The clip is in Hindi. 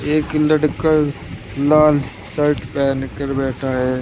एक लड़का लाल शर्ट पहन कर बैठा है।